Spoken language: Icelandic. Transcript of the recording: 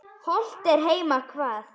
Hollt er heima hvað.